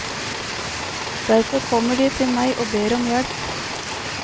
Derfor kommer de til meg og ber om hjelp.